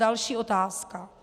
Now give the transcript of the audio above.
Další otázka.